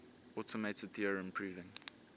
automated theorem proving